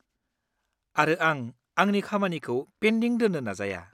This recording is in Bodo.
-आरो आं आंनि खामानिखौ पेन्दिं दोन्नो नाजाया।